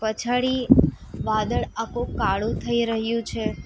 પછાળી વાદળ આકો કાળો થઈ રહ્યું છે.